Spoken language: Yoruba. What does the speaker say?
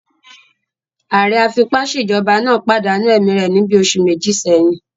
Ààrẹ afipásèjọba náà pàdánù ẹ̀mí rẹ̀ níbi oṣù méjì sẹ́yìn